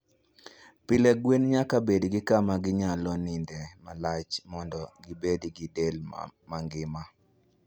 Pile, gwen nyaka bed gi kama ginyalo nindoe malach mondo gibed gi del mangima.